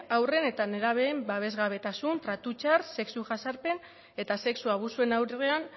haurren eta nerabeen babesgabetasun tratu txar sexu jazarpen eta sexu abusuen aurrean